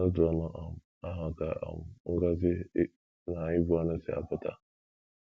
N’otu ọnụ um ahụ ka um ngọzi na ịbụ ọnụ si apụta.